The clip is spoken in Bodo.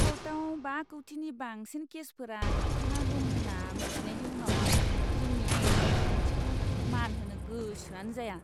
क'र्टआव बा कौटिनि बांसिन केसफोरा थाबथाना दं होन्ना मिथिनायनि उनाव आं जोंनि आयेनारि बिखान्थिखौ मान होनो गोसोआनो जाया।